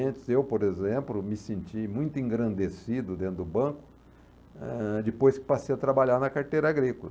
Antes eu por exemplo, me senti muito engrandecido dentro do banco, eh, depois que passei a trabalhar na carteira agrícola.